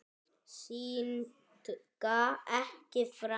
Syndga ekki framar.